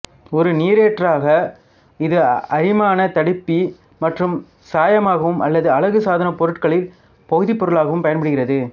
ஒரு நீரேற்றாக இது அரிமாணத் தடுப்பி மற்றும் சாயமாகவும் அல்லது அழகுசாதனப் பொருட்களில் பகுதிப்பொருளாகவும் பயன்படுகிறது